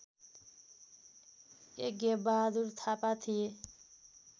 यज्ञबहादुर थापा थिए